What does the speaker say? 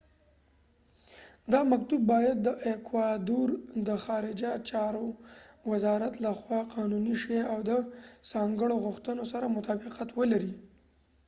دا مکتوب باید د ایکوادور د خارجه چارو وزارت له خوا قانونی شي او د ځانګړو غوښتنو سره مطابقت ولري